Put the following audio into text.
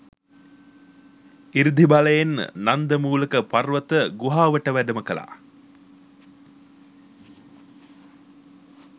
ඉර්ධි බලයෙන් නන්දමූලක පර්වත ගුහාවට වැඩම කළා